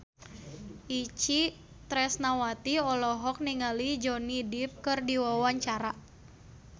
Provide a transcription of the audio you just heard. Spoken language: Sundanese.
Itje Tresnawati olohok ningali Johnny Depp keur diwawancara